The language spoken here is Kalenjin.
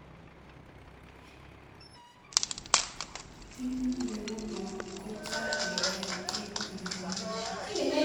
timit nenguong kochapekei eng ureriet